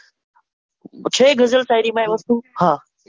છે ગઝલ શાયરી માં એ વસ્તુ હા,